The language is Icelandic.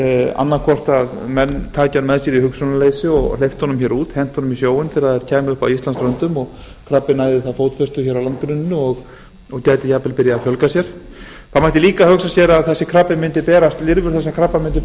annaðhvort að menn taki hann með sér í hugsunarleysi og hleyptu honum hér út hentu honum í sjóinn þegar þeir kæmu upp að íslandsströndum og krabbinn næði þá fótfestu hér á landgrunninu og gæti jafnvel byrjað að fjölga sér það mætti líka hugsa sér að lirfur þessa krabba mundu